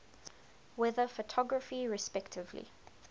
weather photography respectively